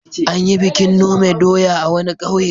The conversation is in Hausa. An yi bikin nome doya a wani ƙauye.